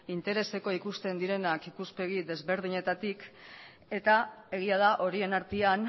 interesekoak ikusten direnak ikuspegi ezberdinetatik eta egia da horien artean